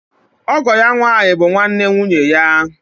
Ọgọ ya nwànyí bụ nwanne nwụnye ya.